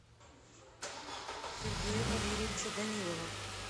сергея валерьевича данилова